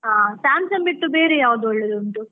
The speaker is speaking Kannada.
ಹಾ, Samsung ಬಿಟ್ಟು, ಬೇರೆ ಯಾವುದು ಒಳ್ಳೆದುಂಟು .